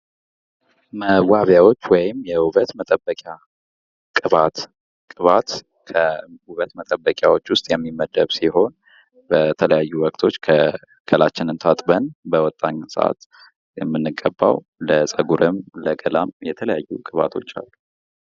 መዋቢያዎች ወይም የውበት መጠበቂያ፤ ቅባት ፦ቅባት ከውበት መጠበቂያዎች ውስጥ የሚመደብ ሲሆን በተለያዩ ወቅቶች አካላችን ታጥበን በወጣን ጊዜ የምንቀባው ለፀጉረም ለገላም የተለያዩ ቅባቶች አሉ።